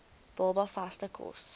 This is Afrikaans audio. baba vaste kos